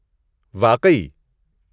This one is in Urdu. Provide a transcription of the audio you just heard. واقعی!؟